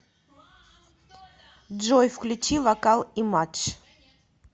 джой включи вокал имадж